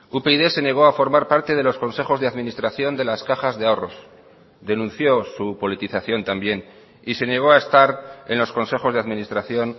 upyd se negó a formar parte de los consejos de administración de las cajas de ahorros denunció su politización también y se negó a estar en los consejos de administración